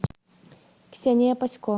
ксения пасько